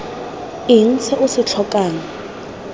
eng se o se tlhokang